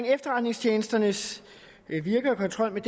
er efterretningstjenesternes virke og kontrollen